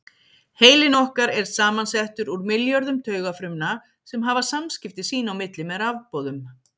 Heilinn okkar er samansettur úr milljörðum taugafrumna sem hafa samskipti sín á milli með rafboðum.